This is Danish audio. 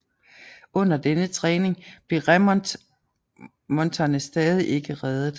Under denne træning blev remonterne stadig ikke redet